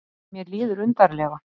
Mér líður undarlega.